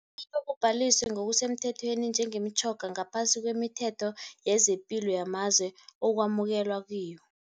Kufanele kubhaliswe ngokusemthethweni njengemitjhoga ngaphasi kwemithetho yezepilo yamazwe okwamukelwa kiyo.